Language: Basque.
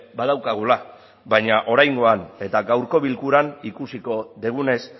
badaukagula baina oraingoan eta gaurko bilkuran ikusiko dugunez